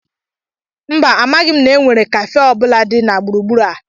Mba, a maghị na e nwèrè kafee ọ bụla dị na gburugburu a